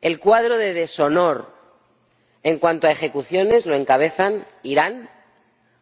El cuadro de deshonor en cuanto a ejecuciones lo encabezan Irán,